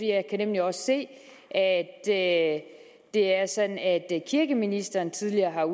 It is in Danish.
jeg kan nemlig også se at det er sådan at kirkeministeren tidligere har